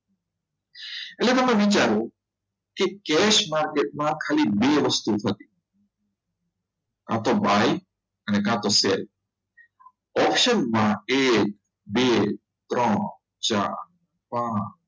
એટલે કે તમે વિચારો કે cash market માં ખાલી બે વસ્તુ હોય કા તો બાય કા તો sell option એ બે ત્રણ ચાર પાંચ